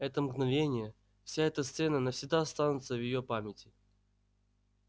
это мгновение вся эта сцена навсегда останутся в её памяти